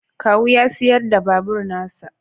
Kawu ya sayar da babur na sa